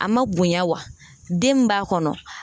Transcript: A ma bonya wa den min b'a kɔnɔ